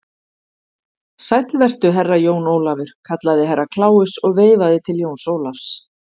Sæll vertu, Herra Jón Ólafur, kallaði Herra Kláus og veifaði til Jóns Ólafs.